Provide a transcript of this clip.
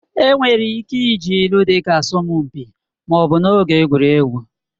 Enwere ike iji ilu dịka asọmpi ma ọ bụ n'oge egwuregwu